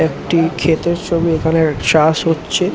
একটি ক্ষেতের ছবি। এখানে চাষ হচ্ছে ।